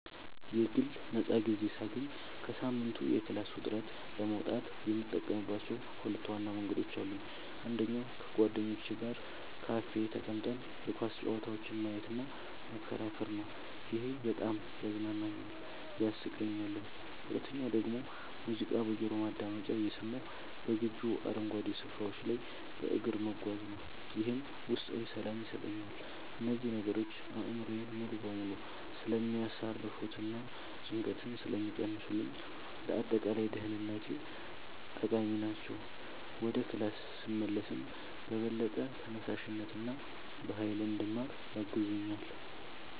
የግል ነፃ ጊዜ ሳገኝ ከሳምንቱ የክላስ ውጥረት ለመውጣት የምጠቀምባቸው ሁለት ዋና መንገዶች አሉኝ። አንደኛው ከጓደኞቼ ጋር ካፌ ተቀምጠን የኳስ ጨዋታዎችን ማየትና መከራከር ነው፤ ይሄ በጣም ያዝናናኛል፣ ያሳቀኛልም። ሁለተኛው ደግሞ ሙዚቃ በጆሮ ማዳመጫ እየሰማሁ በግቢው አረንጓዴ ስፍራዎች ላይ በእግር መጓዝ ነው፤ ይህም ውስጣዊ ሰላም ይሰጠኛል። እነዚህ ነገሮች አእምሮዬን ሙሉ በሙሉ ስለሚያሳርፉትና ጭንቀትን ስለሚቀንሱልኝ ለአጠቃላይ ደህንነቴ ጠቃሚ ናቸው። ወደ ክላስ ስመለስም በበለጠ ተነሳሽነትና በሃይል እንድማር ያግዙኛል።